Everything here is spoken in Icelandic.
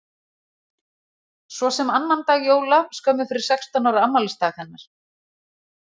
Svo sem annan dag jóla skömmu fyrir sextán ára afmælisdag hennar.